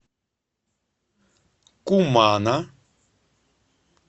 кумана